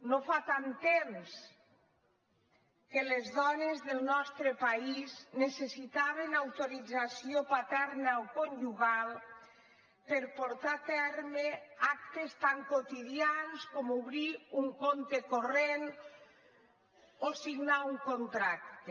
no fa tant temps que les dones del nostre país necessitaven autorització paterna o conjugal per portar a terme actes tan quotidians com obrir un compte corrent o signar un contracte